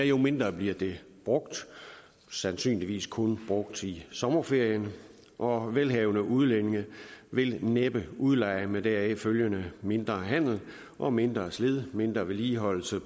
jo mindre bliver det brugt sandsynligvis kun brugt i sommerferien og velhavende udlændinge vil næppe udleje med deraf følgende mindre handel og mindre slid på mindre vedligeholdelse